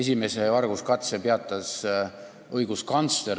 Esimese varguskatse peatas õiguskantsler.